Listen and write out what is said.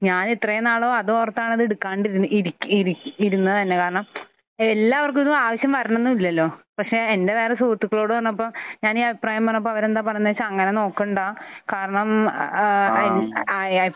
ഞാൻ ഇത്രയും നാളും അതോർത്താണ് അത് എടുക്കാതിരു ഇരി ഇരുന്നത് തന്നെ. കാരണം എല്ലാവർക്കും ഇത് ആവശ്യം വരണമെന്നില്ലലോ. പക്ഷെ എന്റെ വേറെ സുഹൃത്തുക്കളോട് പറഞ്ഞപ്പോൾ ഞാൻ ഈ അഭിപ്രായം പറഞ്ഞപ്പോൾ അവർ എന്താണ് പറഞ്ഞത് എന്ന് വെച്ചാൽ അങ്ങനെ നോക്കണ്ട. കാരണം ഏഹ് എപ്പോൾ